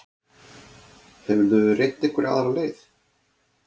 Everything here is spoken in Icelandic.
Hefurðu reynt einhverja aðra leið?